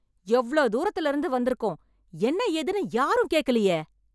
எவ்ளோ தூரத்துல இருந்து வந்திருக்கோம் என்ன ஏதுன்னு யாரும் கேட்கலையே